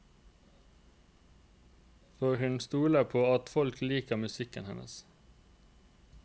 For hun stoler på at folket liker musikken hennes.